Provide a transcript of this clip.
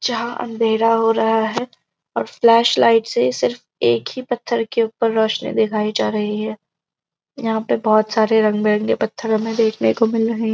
जहाँ अंधेरा हो रहा है और फ्लेश लाईट से सिर्फ एक ही पत्‍थर के ऊपर रोशनी दिखाई जा रही है यहाँ पे बहोत से रंग बिरंगे पत्थर हमें देखने को मिल रहे --